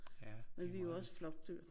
Ja det er meget vigtigt